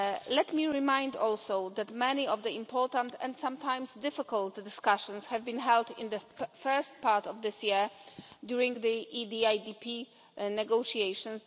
Let me remind you also that many of the important and sometimes difficult discussions have been held in the first part of this year during the EDIDP negotiations.